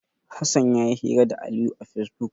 Hassan ya yi hira da Aliyu a Fesbuk.